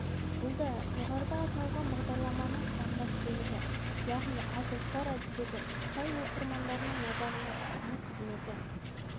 бұл да жоғарыда аталған бағдарламаның құрамдас бөлігі яғни аз ұлттар әдебиетін қытай оқырмандарының назарына ұсыну қызметі